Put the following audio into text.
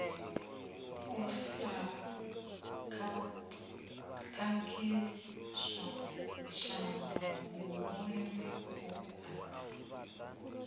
u sa khakhiswa tshanḓanguvhoni vhuaḓa